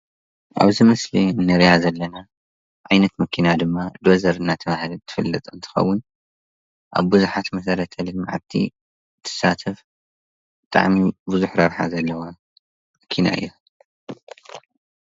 ኣብዚ ምስሊ እንሪኣ ዘለና ዓይነት መኪና ድማ ዶዘር እናተባህለት ትፍለጥ እንትኸውን ኣብ ብዙሓት መሰረተ-ልምዓቲ ትሳተፍ ብጣዕሚ ብዙሕ ረብሓ ዘለዋ መኪና እያ፡፡